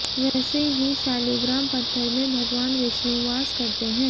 वैसे ही शालिग्राम पत्थर में भगवान विष्णु वास करते हैं